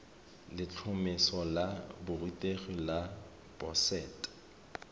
letlhomeso la borutegi la boset